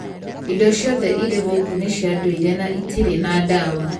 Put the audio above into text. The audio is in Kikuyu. Indo ciothe iria gũkũ nĩ cia ndũire na itirĩ na ndawa.